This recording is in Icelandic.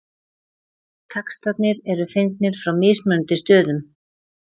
textarnir eru fengnir frá mismunandi stöðum